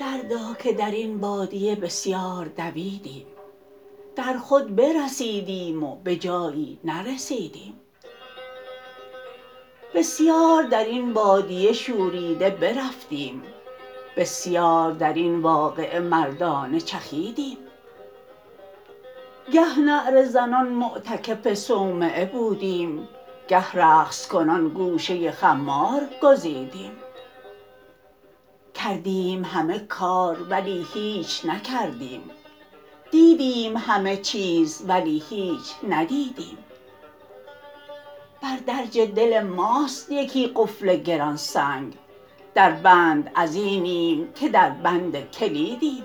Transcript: دردا که درین بادیه بسیار دویدیم در خود برسیدیم و بجایی نرسیدیم بسیار درین بادیه شوریده برفتیم بسیار درین واقعه مردانه چخیدیم گه نعره زنان معتکف صومعه بودیم گه رقص کنان گوشه خمار گزیدیم کردیم همه کار ولی هیچ نکردیم دیدیم همه چیز ولی هیچ ندیدیم بر درج دل ماست یکی قفل گران سنگ در بند ازینیم که در بند کلیدیم